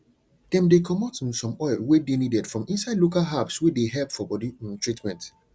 dem dey comot um some oil wey dey needed from inside local herbs wey dey help for body um treatment